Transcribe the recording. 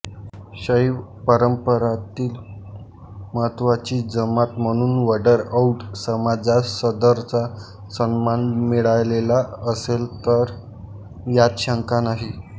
शैव परंपरतील महत्त्वाची जमात म्हणून वडर औड्र समाजास सदरचा सन्मान मिळालेला असेल यात शंका नाही